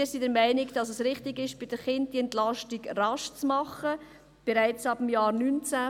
Wir sind der Meinung, dass es richtig ist, bei den Kindern diese Entlastung rasch vorzunehmen, bereits ab dem Jahr 2019.